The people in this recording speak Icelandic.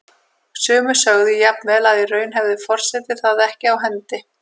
Sumir sögðu jafnvel að í raun hefði forseti það ekki á hendi.